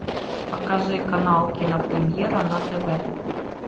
покажи канал кинопремьера на тв